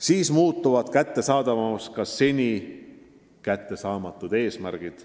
Siis muutuvad kättesaadavaks ka seni kättesaamatud eesmärgid.